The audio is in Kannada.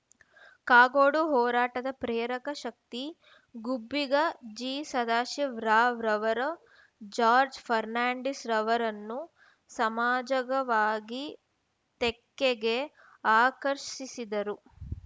ಕಾಗೋಡು ಹೋರಾಟದ ಪ್ರೇರಕ ಶಕ್ತಿ ಗುಬ್ಬಿಗ ಜಿ ಸದಾಶಿವರಾವ್‌ರವರು ಜಾರ್ಜ್ ಫರ್ನಾಂಡೀಸ್‌ರವರನ್ನು ಸಮಾಜಗವಾಗಿ ತೆಕ್ಕೆಗೆ ಆಕರ್ಷಿಸಿದ್ದರು